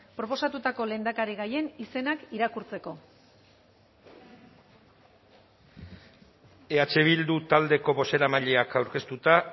proposatutako lehendakarigaien izenak irakurtzeko eh bildu taldeko bozeramaileak aurkeztuta